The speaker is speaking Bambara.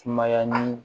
Sumaya ni